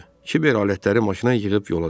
Kiber alətləri maşına yığıb yola düşdü.